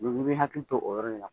bɛ hakili to o yɔrɔ le la